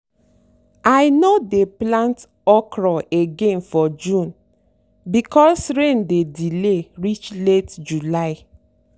i no dey plant okra again for june because rain dey delay reach late july.